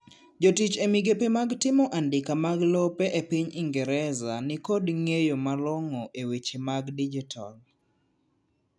jotich e migepe mag timo andika mag lope e piny ingereza nikod ng'eyo malongo e weche mag dijital